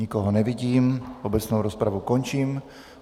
Nikoho nevidím, obecnou rozpravu končím.